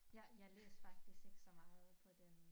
Jeg jeg læste faktisk ikke så meget på den